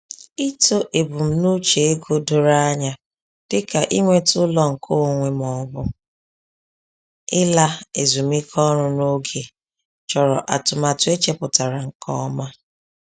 Ịtọ ebumnuche ego doro anya dịka inweta ụlọ nke onwe ma ọ bụ ịla ezumike ọrụ n’oge chọrọ atụmatụ e chepụtara nke ọma.